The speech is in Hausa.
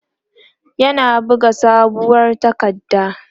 yana buga sabuwar takarda